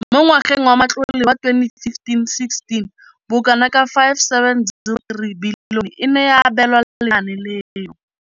Mo ngwageng wa matlole wa 2015,16, bokanaka R5 703 bilione e ne ya abelwa lenaane leno.